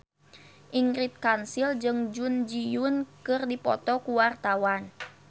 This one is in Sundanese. Ingrid Kansil jeung Jun Ji Hyun keur dipoto ku wartawan